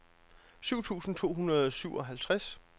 syv tusind to hundrede og syvoghalvtreds